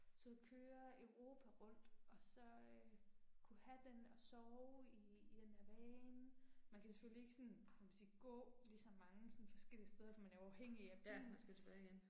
Tag ud og køre Europa rundt og så øh kunne have den og sove i i den der van. Man kan selvfølgelig ikke sådan kan man sige gå lige så mange sådan forskellige steder, for man er jo afhængig af bilen